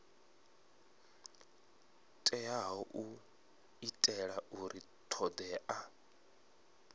teaho u itela uri thodea